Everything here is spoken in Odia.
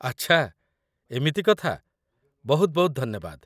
ଆଚ୍ଛା, ଏମିତି କଥା ବହୁତ ବହୁତ ଧନ୍ୟବାଦ